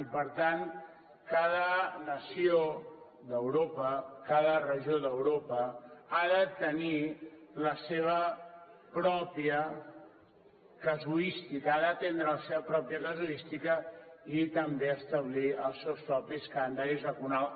i per tant cada nació d’europa cada regió d’europa ha de tenir la seva pròpia casuística ha d’atendre la seva pròpia casuística i també establir els seus propis calendaris vacunals